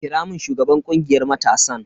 Kira mun shugaban kungiyar matasan.